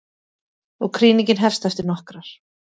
Og krýningin hefst eftir nokkrar.